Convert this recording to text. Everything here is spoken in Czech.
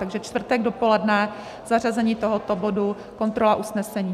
Takže čtvrtek dopoledne zařazení tohoto bodu - kontrola usnesení.